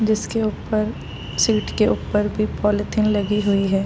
जिसके उपर सीट के उपर भी पोलोथिन लगी हुई है |